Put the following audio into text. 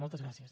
moltes gràcies